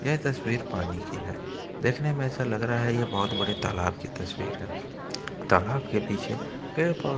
यह तस्वीर पानी की है देखने में ऐसा लग रहा है यह बहुत बड़े तालाब की तस्वीर है तालाब के पीछे पेड़ पौधे --